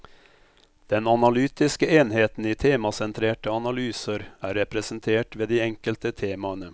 Den analytiske enheten i temasentrerte analyser er representert ved de enkelte temaene.